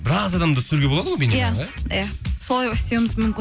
біраз адамды түсіруге болады ғой иә солай істеуіміз мүмкін